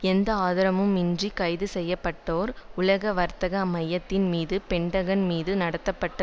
எந்த ஆதாரமும் இன்றி கைது செய்ய பட்டோர் உலக வர்த்தக மையத்தின் மீது பென்டகன் மீது நடத்தப்பட்ட